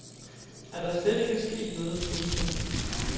Er der slet ikke sket noget. punktum